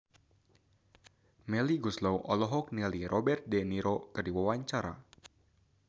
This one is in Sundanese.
Melly Goeslaw olohok ningali Robert de Niro keur diwawancara